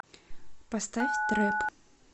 поставь трэп